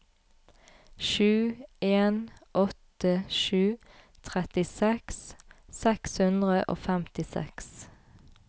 sju en åtte sju trettiseks seks hundre og femtiseks